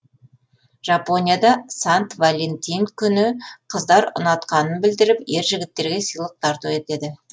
жапонияда сант валентин күні қыздар ұнатқанын білдіріп ер жігіттерге сыйлық тарту етеді